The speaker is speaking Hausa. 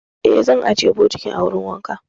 Eh, zan ajiye bokitin a wurin wanka.